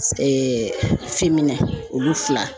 olu fila.